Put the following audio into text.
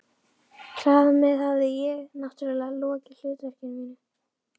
Þar með hafði ég- náttúrlega- lokið hlutverki mínu.